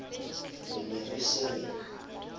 re ne re se re